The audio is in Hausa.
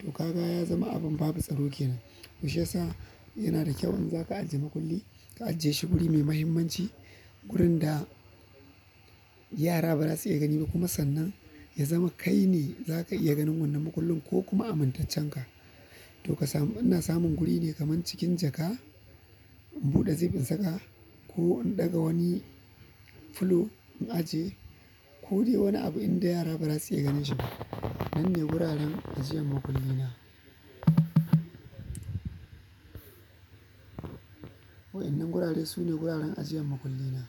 To kaga ya zama abin babu tsaro ke nan. Toh shiyasa yana da kyau in zaka ajiye makulli ka ajiye shi guri mai muhimmanci. Gurin da yara ba za su iya gani ba kuma sannan ya zama kai ne za ka iya ganin wannan makullin ko kuma amintaccen ka. To ka samu, ina samun guri ne kaman cikin jaka in buɗe zip in saka ko in ɗaga wani fulo in ajiye ko dai wani abu inda yara ba za su iya ganin shi ba. Nan ne wuraren ajiyan makulli na. Wa'annan gurare sune guraren ajiyan mukulina.